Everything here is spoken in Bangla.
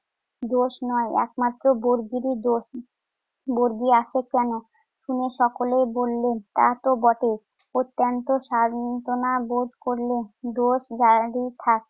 দোষ নয়, একমাত্র বর্গিরই দোষ। বর্গি আসে কেন? শুনে সকলেই বললেন তা তো বটেই। অত্যন্ত সান্ত্বনাবোধ করল। দোষ যারই থাক